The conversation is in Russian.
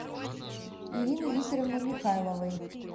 ирины викторовны михайловой